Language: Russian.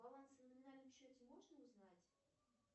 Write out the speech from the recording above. баланс на номинальном счете можно узнать